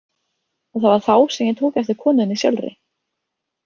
Og það var þá sem ég tók eftir konunni sjálfri.